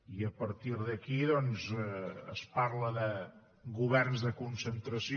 i a partir d’aquí doncs es parla de governs de concentració